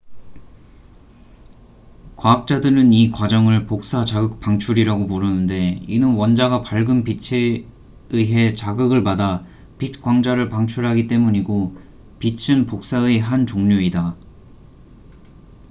"과학자들은 이 과정을 "복사 자극 방출""이라고 부르는데 이는 원자가 밝은 빛에 의해 자극을 받아 빛 광자를 방출하기 때문이고 빛은 복사의 한 종류이다.